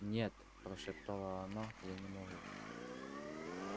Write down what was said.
нет прошептала оно я не могу